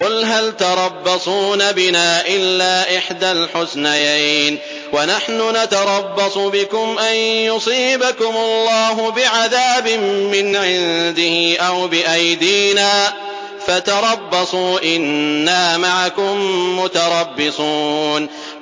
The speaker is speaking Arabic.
قُلْ هَلْ تَرَبَّصُونَ بِنَا إِلَّا إِحْدَى الْحُسْنَيَيْنِ ۖ وَنَحْنُ نَتَرَبَّصُ بِكُمْ أَن يُصِيبَكُمُ اللَّهُ بِعَذَابٍ مِّنْ عِندِهِ أَوْ بِأَيْدِينَا ۖ فَتَرَبَّصُوا إِنَّا مَعَكُم مُّتَرَبِّصُونَ